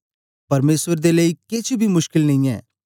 परमेसर दे लेई केछ बी मुशकल नेई ऐ